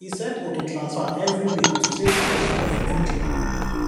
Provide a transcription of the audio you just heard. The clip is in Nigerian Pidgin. he set auto transfer every week to save small small for future